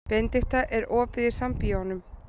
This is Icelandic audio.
Benidikta, er opið í Sambíóunum?